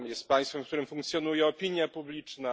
Jest państwem, w którym funkcjonuje opinia publiczna.